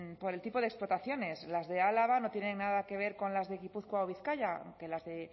por el tipo de explotaciones las de álava no tienen nada que ver con las de gipuzkoa o bizkaia aunque las de